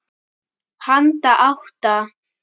Handa átta